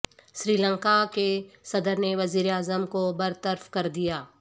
سری لنکا کے صدر نے وزیراعظم کو برطرف کر دیا